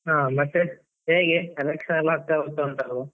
ಹಾ ಮತ್ತೆ, ಹೇಗೆ election ಎಲ್ಲ ಹತ್ರ ಬರ್ತಾ ಉಂಟಲ್ವಾ?